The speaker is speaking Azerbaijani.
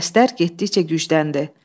Səslər getdikcə gücləndi.